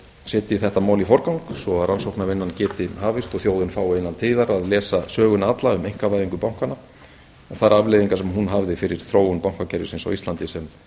eftirlitsnefnd setji þetta mál í forgang svo að rannsóknarvinnan geti hafist og þjóðin fái innan tíðar að lesa söguna alla um einkavæðingu bankanna og þær afleiðingar sem hún hafði fyrir þróun bankakerfisins á íslandi sem